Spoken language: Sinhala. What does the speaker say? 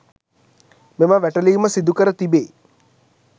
මෙම වැටලීම සිදුකර තිබේ.